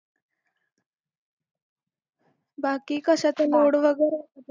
बाकी कशाचा load वगैरे तुला